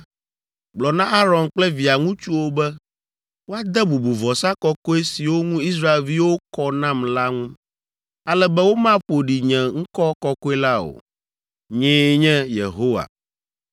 “Gblɔ na Aron kple via ŋutsuwo be woade bubu vɔsa kɔkɔe siwo ŋu Israelviwo kɔ nam la ŋu, ale be womaƒo ɖi nye ŋkɔ kɔkɔe la o. Nyee nye Yehowa.